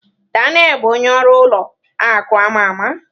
Daniel bụ onye ọrụ ụlọ akụ ama ama.